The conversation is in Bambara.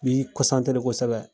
Nbi kosɛbɛ